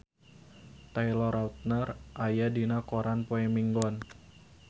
Taylor Lautner aya dina koran poe Minggon